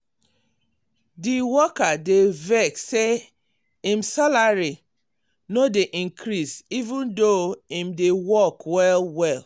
di worker dey vex say im salary no dey increase even though im dey work well-well.